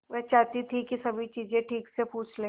वह चाहती थी कि सभी चीजें ठीक से पूछ ले